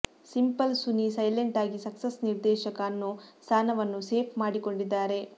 simple Suni silent ಆಗಿ success ನಿರ್ದೇಶಕ ಅನ್ನೋ ಸ್ಥಾನವನ್ನೂ ಸೇಫ್ ಮಾಡಿಕೊಂಡಿದ್ದಾರೆ